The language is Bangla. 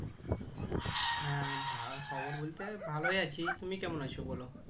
হ্যাঁ ভা খবর বলতে ভালই আছি তুমি কেমন আছো বলো